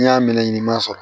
N'i y'a minɛ i m'a sɔrɔ